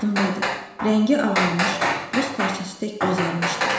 Yadımdadır, rəngi ağarmış, buz parçası tək bozarmışdı.